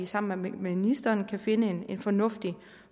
sammen med ministeren kan finde en en fornuftig